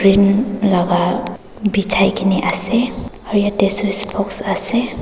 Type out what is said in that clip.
laka bijai kaena ase aru yatae switc box ase.